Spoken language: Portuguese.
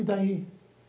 E daí?